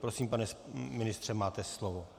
Prosím, pane ministře, máte slovo.